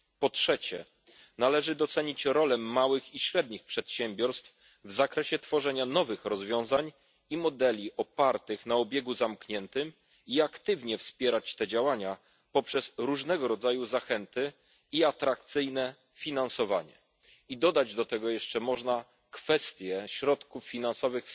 Po trzecie, należy docenić rolę małych i średnich przedsiębiorstw w tworzeniu nowych rozwiązań i modeli opartych na obiegu zamkniętym i aktywnie wspierać te działania poprzez różnego rodzaju zachęty i atrakcyjne finansowanie. I dodać do tego jeszcze można kwestię środków finansowych